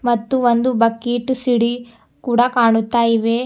ಮತ್ತು ಒಂದು bucket CD ಕೂಡ ಕಾಣುತ್ತಾ ಇವೆ.